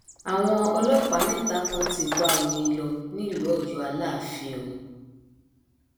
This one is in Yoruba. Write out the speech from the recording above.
àwọn ọlọpàá mẹta kan ti bá omi lò nílù ọyọ aláàfin o